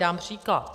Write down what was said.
Dám příklad.